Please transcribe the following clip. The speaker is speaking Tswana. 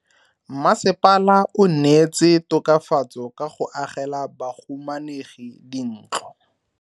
Mmasepala o neetse tokafatso ka go agela bahumanegi dintlo.